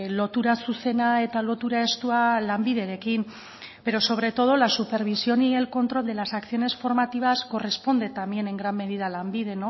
lotura zuzena eta lotura estua lanbiderekin pero sobre todo la supervisión y el control de las acciones formativas corresponde también en gran medida lanbide